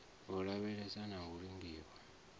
u lavheleswa na u lingiwa